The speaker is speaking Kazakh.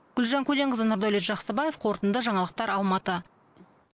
гүлжан көленқызы нұрдәулет жақсыбаев қорытынды жаңалықтар алматы